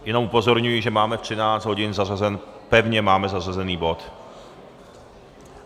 Jenom upozorňuji, že máme ve 13 hodin pevně zařazený bod.